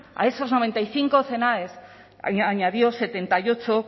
a esos noventa y cinco cnae añadió setenta y ocho